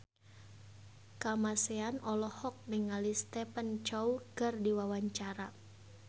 Kamasean olohok ningali Stephen Chow keur diwawancara